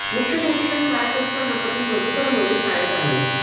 मुख्याध्यापिका शाळेत असतांना पती मधुकर मोरे शाळेत आले